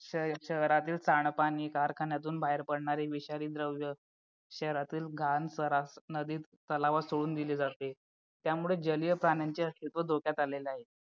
शहरातील सांडपाणी कारखान्यातून बाहेर पडणारे विषारी द्रव्य शहरातील घाण सरास नदीत तलावात सोडून दिले जाते त्यामुळे जलीय प्राण्यांचे अस्तित्व धोक्यात आलेले आहे